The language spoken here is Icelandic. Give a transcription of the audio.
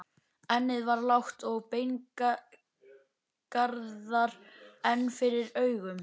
Ennið var lágt og beingarðar enn yfir augum.